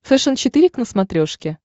фэшен четыре к на смотрешке